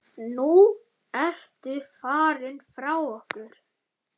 Nú ertu farinn frá okkur.